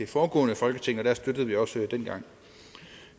foregående folketing og vi støttede det også dengang